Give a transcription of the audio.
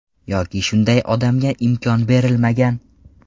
Yoki shunday odamga imkon berilmagan.